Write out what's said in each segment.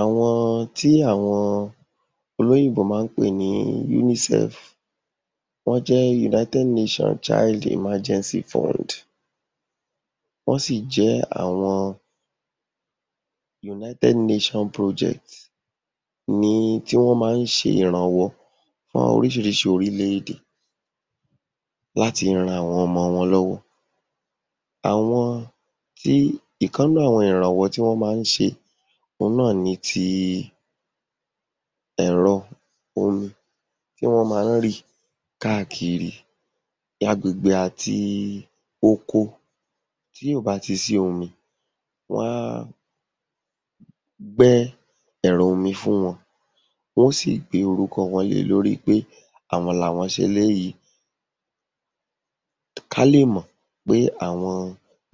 Àwọn tí àwọn olóyìnbó má ń pè ní UNICEF wọ́n jé United Nation Child Emergency Fund. Wọ́n sì jẹ́ àwọn United Nation Project ní tí wọ́n má ń ṣe ìrànwọ́ fún oríṣiríṣi orílẹ̀-èdè láti ran àwọn ọmọ wọn lọ́wọ́. Àwọn tí ìkan nínú àwọn ìrànwọ́ tí wọ́n má ń ṣe òhun náà ni ti ẹ̀rọ omi tí wọ́n má ń rì káàkiri agbègbè àti oko tí ò bá ti sí omi, wọ́n á gbẹ́ ẹ̀rọ omi fún wọn, wọ́n ó sì gbé orúkọ wọn lé e lórí pé àwọn làwọ́n ṣe eléyìí, ká lè mọ̀ pé àwọn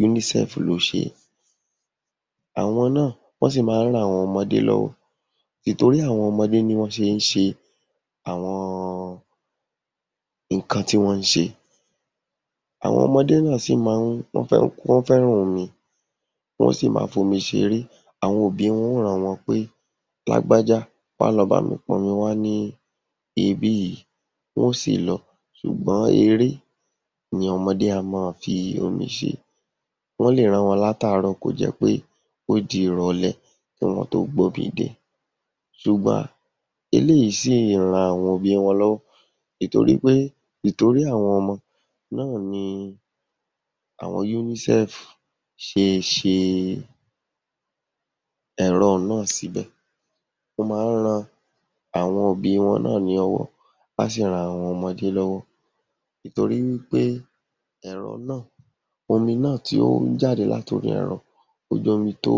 UNICEF ló ṣe é. Àwọn náà wọ́n sì má ń ran àwọn ọmọdé lọ́wọ́, ìtorí àwọn ọmọdé ni wọ́n fi ń ṣe awon nǹkan tí wọ́n ń ṣe. Àwọn ọmọdé náà sì má ń… wọ́n fẹ́ràn omi, wọ́n sì má ń fi omi ṣeré. Àwọn òbí wọn ó rán wọn pé lágbájá wá lọ bámi pọnmi wá ní ibí yìí, wọ́n ó sì lọ. Ṣùgbọ́n eré ni ọmọdé a mọ́ọ fi omi ṣe. Wọ́n lè rán wọn látàárọ̀ kó jẹ́ pé ó di ìrọ̀lé kí wọ́n tó gbómi dé ṣùgbọ́n eléyìí sì ń ran àwọn òbí wọn lọ́wọ́ ìtorí pé púpọ̀ nínú àwọn ọmọ náà ni àwọn UNICEF ṣe ṣe ẹ̀rọ un náà síbẹ̀. Ó má ń ran àwọn òbí wọn náà ní ọwọ́, á sì ran àwọn ọmọdé lọ́wọ́ ìtorí pé ẹ̀rọ náà omi náà tí ó ń jáde láti orí ẹ̀rọ, ó jẹ́ omi tó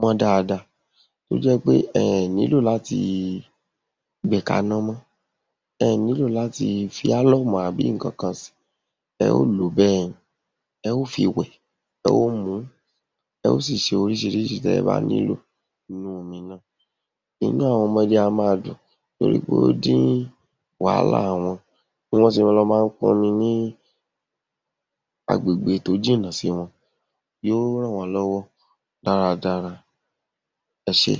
mọ́n dáadáa tó jẹ́ pé ẹẹ̀ nílò láti gbé e kaná mọ, ẹẹ̀ nílò láti fi álọ́ọ̀mù àbí nǹkankan sí i, ẹ ó lò ó bẹ́ẹ̀ ni. Ẹ ó fi wẹ̀, ẹ ó mu ún, ẹ ó sì fi ṣe oríṣiríṣi tí ẹ bá nílò nínú omi náà. Inú àwọn ọmọdé a máa dùn torípé ó dín wàhálà wọn bí wọ́n ṣe lọ má ń pọnmi ní agbègbè tó jìnà sí wọn. Yóó ràn wọ́n lọ́wọ́ dára dára. Ẹ ṣé.